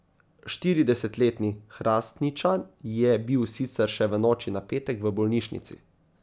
Štiridesetletni Hrastničan je bil sicer še v noči na petek v bolnišnici.